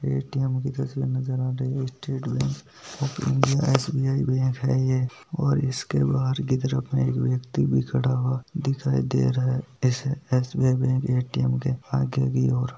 ATM. की तस्वीर नजर आ रही है स्टेट बैंक उपरेम एस.बी.आई. बैंक है ये और इसके बहार कि तरफ उप में एक व्यक्ति भी खड़ा हुआ दिखाए दे रहा है इस एस.बी.आई. Bank ATM. के आगे की ओर।